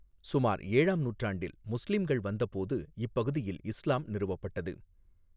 சுமார் ஏழாம் நூற்றாண்டில் முஸ்லிம்கள் வந்தபோது இப்பகுதியில் இஸ்லாம் நிறுவப்பட்டது.